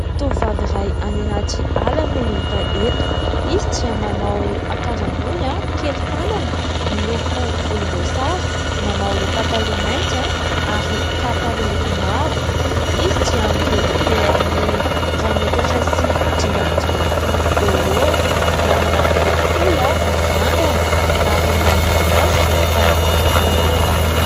Tovovavy iray any anaty ala no hita eto: izy dia manao akanjo ambony kely tanana miloko volomboasary, manao pataloha mainty ary kapa miloko mavo, izy dia mirefy eo amin'ny iray metatra sy dimy amby dimampolo eo ho eo, manana volo fohy mirandrana ary manodidina azy dia ahitana bozaka miloko maitso